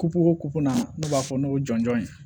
Kupu o kukunna n'u b'a fɔ n'o ye jɔnjɔn ye